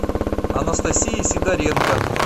анастасии сидоренко